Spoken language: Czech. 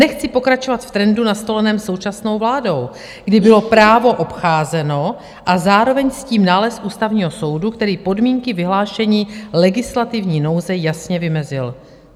Nechci pokračovat v trendu nastoleném současnou vládou, kdy bylo právo obcházeno a zároveň s tím nález Ústavního soudu, který podmínky vyhlášení legislativní nouze jasně vymezil.